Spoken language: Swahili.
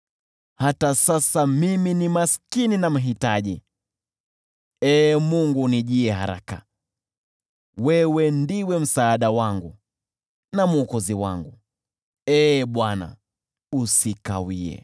Lakini bado mimi ni maskini na mhitaji; Ee Mungu, unijie haraka. Wewe ndiwe msaada wangu na mwokozi wangu; Ee Bwana , usikawie.